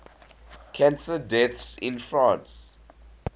cancer deaths in france